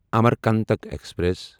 Amarkantak express